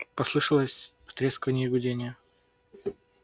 послышалось потрескивание и гудение